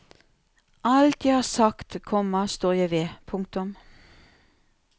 Alt jeg har sagt, komma står jeg ved. punktum